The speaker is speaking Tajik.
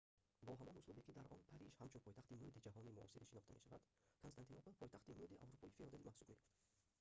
бо ҳамон услубе ки дар он париж ҳамчун пойтахти мӯди ҷаҳони муосир шинохта мешавад константинопол пойтахти мӯди аврупои феодалӣ маҳсуб меёфт